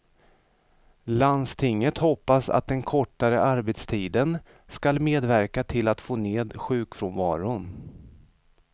Landstinget hoppas att den kortare arbetstiden skall medverka till att få ned sjukfrånvaron.